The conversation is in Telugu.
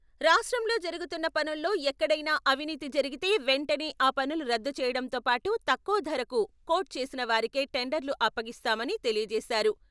రాష్ట్రంలో జరుగుతున్న పనుల్లో ఎక్కడైనా అవినీతి జరిగితే వెంటనే ఆ పనులు రద్దు చేయడంతో పాటు తక్కువ ధరకు కోట్ చేసిన వారికే టెండర్లు అప్పగిస్తామని తెలియచేశారు.